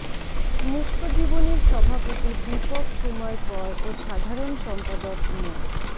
মুক্তজীবনের সভাপতি দ্বীপক কুমার কর ও সাধারণ সম্পাদক মো